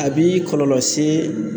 A b'i kɔlɔlɔ se